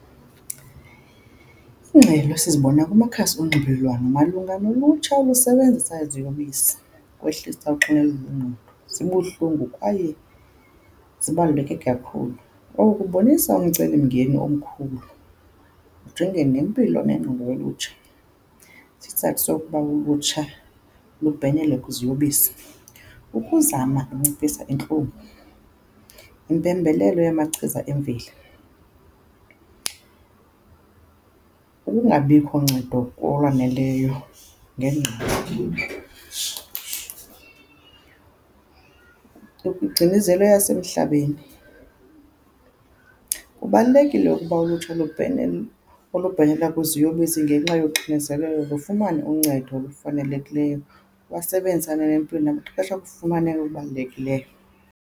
Iingxelo sizibona kumakhasi onxibelelwano malunga nolutsha olusebenzisa iziyobisi ukwehlisa uxinezelelo lwengqondo zibuhlungu kwaye zibaluleke kakhulu. Oku kubonisa umcelimngeni omkhulu, ujonge nempilo nengqondo yolutsha. Isizathu sokuba ulutsha lubhenele kwiziyobisi kukuzama unciphisa intlungu, impembelelo yamachiza emveli, ukungabikho ncedo olwaneleyo ngengqesho, ukugcinezela eyasemhlabeni. Kubalulekile ukuba ulutsha lubhenele, olubhenela kwiziyobisi ngenxa yoxinezelelo lufumane uncedo olufanelekileyo, basebenzisane nempilo ngamaxesha okufumaneka okubalulekileyo.